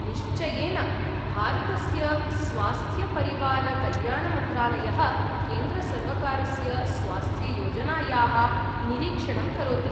निश्चयेन। भारतस्य स्वास्थ्यपरिवारकल्याणमन्त्रालयः केन्द्रसर्वकारस्य स्वास्थ्ययोजनायाः निरीक्षणं करोति।